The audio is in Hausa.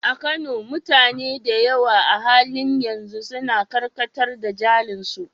A Kano, mutane da yawa a halin yanzu suna karkatar da jarin su.